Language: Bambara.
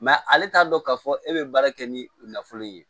ale t'a dɔn k'a fɔ e bɛ baara kɛ ni u nafolo ye